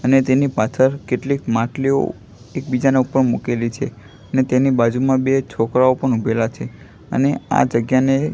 અને તેની પાછળ કેટલીક માટલીઓ એક બીજાના ઉપર મૂકેલી છે અને તેની બાજુમાં બે છોકરાઓ પણ ઉભેલા છે અને આ જગ્યાને.